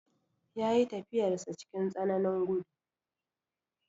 Ya yi tafiyarsa cikin tsananin gudu.